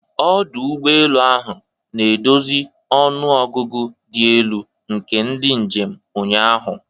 Ọdụ ụgbọ elu ahụ na-edozi ọnụ ọgụgụ dị elu nke ndị njem ụnyaahụ.